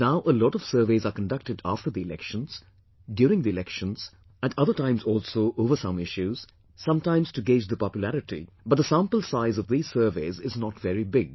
Now a lot of surveys are conducted after the elections, during the elections, at other times also over some issues, sometimes to gauge the popularity, but the sample size of these surveys is not very big